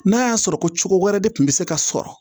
N'a y'a sɔrɔ ko cogo wɛrɛ de kun bɛ se ka sɔrɔ